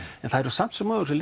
en það er samt sem áður sem